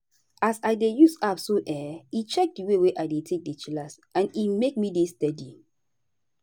as i dey use app so[um]e check di way wey i take dey chillax and e make me dey steady.